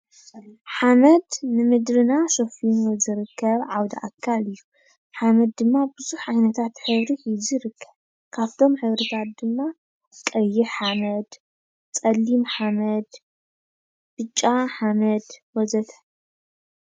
ሓመድ ንምድርና ሸፊኑ ዝርከብ ዓውደ ኣካል እዩ፡፡ ሓመድ ድማ ብዙሕ ዓይነታት ሕብሪ ሒዙ ይርከብ፡፡ ካብቶም ሕብርታት ድማ ቀይሕ ሓመድ ፣ ፀሊም ሓመድ፣ ብጫ ሓመድ ወ ዘ ተ